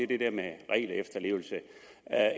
det der med regelefterlevelse